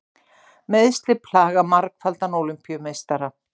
Meiðsli plaga margfaldan Ólympíumeistara